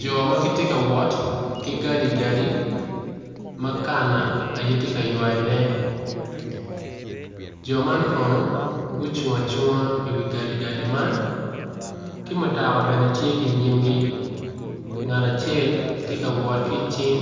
Jo ma gitye ka wot ki gadigadi ma kana aye tye ka ywayone jo ma kono gucung acunga i wi gadigadi man mutoka tye i nyimgi tye